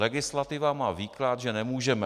Legislativa má výklad, že nemůžeme.